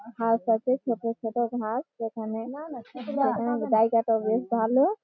ঘাস আছে ছোট ছোট ঘাস যেখানে যেখানে জায়গাটা বেশ ভালোও ।